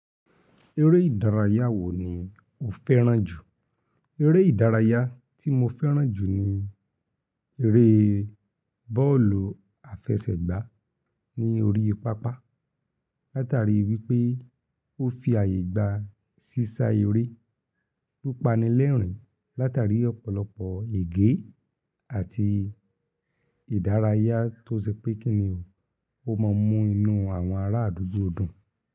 Eré ìdárayá wo ni o fẹ́ràn jù? Eré ìdárayá tí mo fẹ́ràn jù ni eré bọ́ọ̀lù àfẹsẹ̀gbá ní orí pápá, látari wípé ó fi ààyè gba sísá eré tó pani lérìn, látari ọ̀pọ̀lọpọ̀ ègé àti ìdárayá tó ṣe pé kíni o, ó ma mú inú àwọn ará àdúgbò dùn.